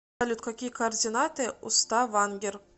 салют какие координаты у ставангер